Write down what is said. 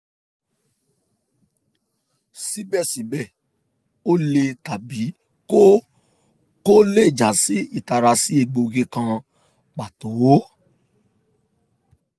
sibẹsibẹ o le tabi ko ko le ja si itara si egboogi kan pato